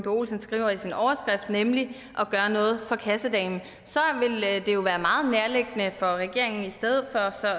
olsen skriver i sin overskrift nemlig gøre noget for kassedamen så ville det jo være meget nærliggende for regeringen